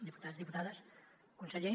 diputats diputades conseller